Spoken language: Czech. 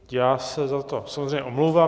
Já se za to samozřejmě omlouvám.